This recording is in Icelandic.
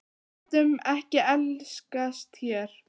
Við getum ekki elskast hér.